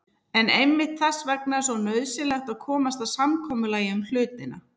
En einmitt þess vegna er svo nauðsynlegt að komast að samkomulagi um hlutina.